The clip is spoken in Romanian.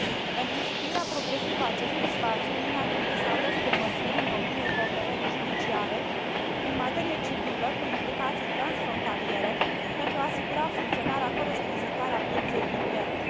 Pentru instituirea progresivă a acestui spațiu, Uniunea trebuie să adopte măsuri în domeniul cooperării judiciare în materie civilă cu implicații transfrontaliere pentru a asigura funcționarea corespunzătoare a pieței interne.